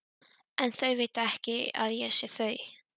En þau vita ekki að ég sé þau.